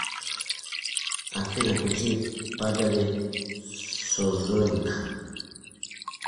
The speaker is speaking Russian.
афина включи падали созоник